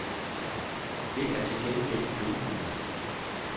Det er til gengæld gribende.